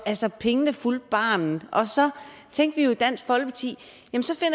pengene fulgte barnet og så tænkte vi jo i dansk folkeparti